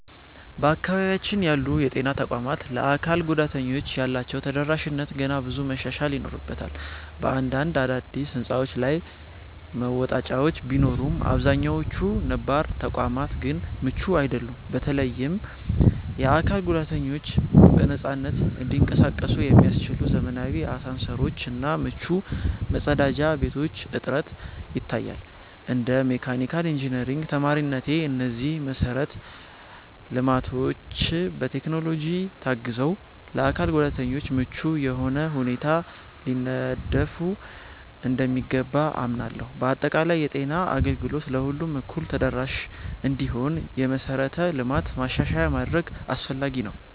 በአካባቢያችን ያሉ የጤና ተቋማት ለአካል ጉዳተኞች ያላቸው ተደራሽነት ገና ብዙ መሻሻል ይኖርበታል። በአንዳንድ አዳዲስ ሕንፃዎች ላይ መወጣጫዎች ቢኖሩም፣ አብዛኛዎቹ ነባር ተቋማት ግን ምቹ አይደሉም። በተለይም የአካል ጉዳተኞች በነፃነት እንዲንቀሳቀሱ የሚያስችሉ ዘመናዊ አሳንሰሮች እና ምቹ መጸዳጃ ቤቶች እጥረት ይታያል። እንደ መካኒካል ኢንጂነሪንግ ተማሪነቴ፣ እነዚህ መሰረተ ልማቶች በቴክኖሎጂ ታግዘው ለአካል ጉዳተኞች ምቹ በሆነ ሁኔታ ሊነደፉ እንደሚገባ አምናለሁ። በአጠቃላይ፣ የጤና አገልግሎት ለሁሉም እኩል ተደራሽ እንዲሆን የመሠረተ ልማት ማሻሻያ ማድረግ አስፈላጊ ነው።